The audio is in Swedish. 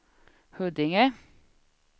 Huddinge